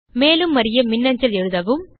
மேலும் அறிய மின்னஞ்சல் எழுதவும்